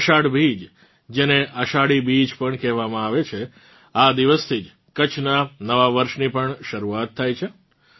અષાઢ બીજ જેને અષાઢી બીજ પણ કહેવામાં આવે છે આ દિવસથી જ કચ્છનાં નવાં વર્ષની પણ શરૂઆત થાય છે